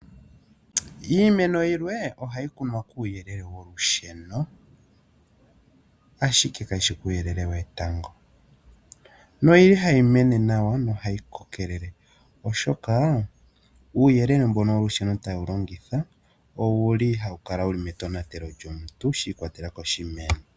Iimeno yilwe ohayi kunwa kuuyelele wolusheno, ashike kayi shi kuuyelele wetango noyili hayi mene nawa nohayi kokelele oshoka uuyelele mbono wolusheno taye wu longitha owu li hawu kala metonatelo lyomuntu shiikwatelela koshimeno.